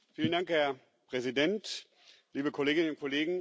Herr Präsident, liebe Kolleginnen und Kollegen!